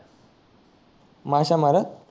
माशया मारत